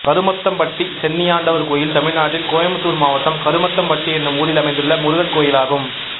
கருமத்தம்பட்டி சென்னியாண்டவர் கோயில் தமிழ்நாட்டில் கோயம்புத்தூர் மாவட்டம் கருமத்தம்பட்டி என்னும் ஊரில் அமைந்துள்ள முருகன் கோயிலாகும்